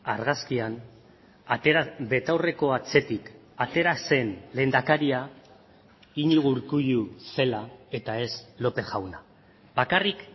argazkian betaurreko atzetik atera zen lehendakaria iñigo urkullu zela eta ez lópez jauna bakarrik